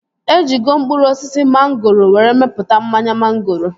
E jigo mkpụrụ osisi mangoro were mepụta mmanya mangoro